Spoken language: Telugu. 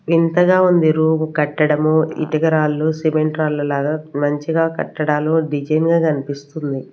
వింతగా ఉంది రూమ్ కట్టడము ఇటక రాళ్లు సిమెంట్ రాళ్ళ లాగా మంచిగా కట్టడాలు డిజైన్ గా కనిపిస్తుంది.